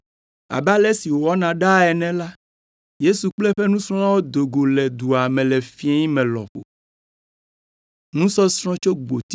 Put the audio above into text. Abe ale si wowɔna ɖaa ene la, Yesu kple eƒe nusrɔ̃lawo do go le dua me le fiẽ me lɔƒo.